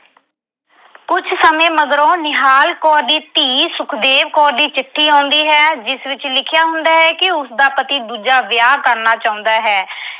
ਕੁਝ ਸਮੇਂ ਮਗਰੋਂ ਨਿਹਾਲ ਕੌਰ ਦੀ ਧੀ ਸੁਖਦੇਵ ਕੌਰ ਦੀ ਚਿੱਠੀ ਆਉਂਦੀ ਹੈ ਜਿਸ ਵਿੱਚ ਲਿਖਿਆ ਹੁੰਦਾ ਕਿ ਉਸਦਾ ਪਤੀ ਦੂਜਾ ਵਿਆਹ ਕਰਨਾ ਚਾਹੁੰਦਾ ਹੈ।